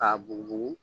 K'a bugubugu